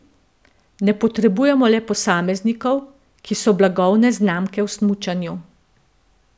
Ne potrebujemo le posameznikov, ki so blagovne znamke v smučanju.